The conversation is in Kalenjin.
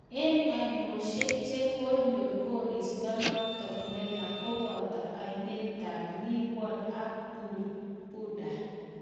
Eng ainoshek che konyor koristo notok neya kopata ainetap leeward ak Barbuda .